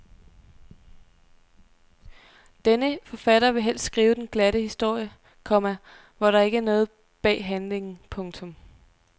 Denne forfatter vil helst skrive den glatte historie, komma hvor der ikke er noget bag handlingen. punktum